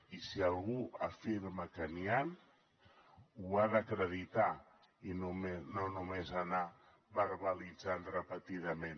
i si algú afirma que n’hi han ho ha d’acreditar i no només anar verbalitzant repetidament